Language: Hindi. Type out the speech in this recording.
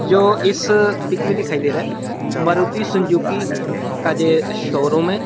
यो इस पिक में दिखाई दे रहा है मारुती सुजुकी का जे शोरुम है।